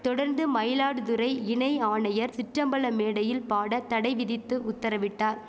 தொடர்ந்து மயிலாடுதுறை இணை ஆணையர் சிற்றம்பல மேடையில் பாட தடை விதித்து உத்தரவிட்டார்